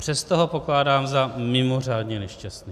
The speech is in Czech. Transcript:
Přesto ho pokládám za mimořádně nešťastný.